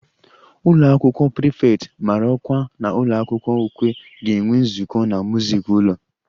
The ụlọ akwụkwọ prefect mara ọkwa na ụlọ akwụkwọ ukwe ga-enwe nzukọ na music ụlọ